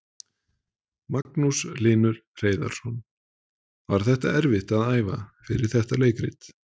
Magnús Hlynur Hreiðarsson: Var þetta erfitt að æfa fyrir þetta leikrit?